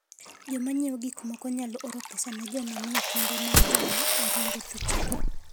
Joma ng'iewo gik moko nyalo oro pesa ne joma nie kembe mag joma oringo thuchegi.